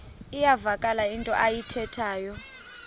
iyavakala into ayithethayo